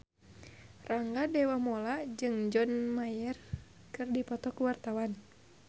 Rangga Dewamoela jeung John Mayer keur dipoto ku wartawan